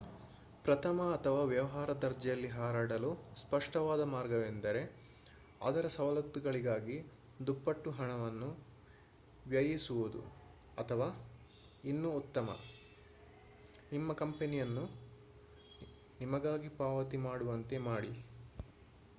ಪ್ರಥಮ ಅಥವಾ ವ್ಯವಹಾರ ದರ್ಜೆಯಲ್ಲಿ ಹಾರಾಡಲು ಸ್ಪಷ್ಟವಾದ ಮಾರ್ಗವೆಂದರೆ ಅದರ ಸವಲತ್ತುಗಳಿಗಾಗಿ ದುಪ್ಪಟ್ಟು ಹಣವನ್ನು ವ್ಯಯಿಸುವುದು ಅಥವಾ ಇನ್ನೂ ಉತ್ತಮ ನಿಮ್ಮ ಕಂಪನಿಯನ್ನು ನಿಮಗಾಗಿ ಪಾವತಿ ಮಾಡುವಂತೆ ಮಾಡಿ